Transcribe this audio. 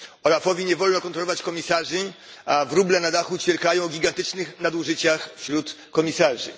OLAF owi nie wolno kontrolować komisarzy, a wróble na dachu ćwierkają o gigantycznych nadużyciach wśród komisarzy.